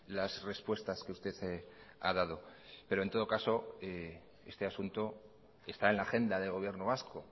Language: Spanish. las respuestas que usted ha dado pero en todo caso este asunto está en la agenda del gobierno vasco